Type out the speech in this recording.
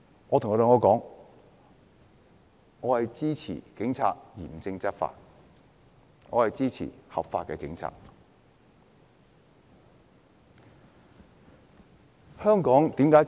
我跟他們說：我支持警察嚴正執法，我支持警察依法執法。